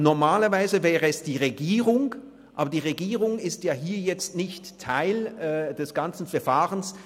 Normalerweise wäre es die Regierung, aber die Regierung ist ja hier nicht Teil des ganzen Verfahrens.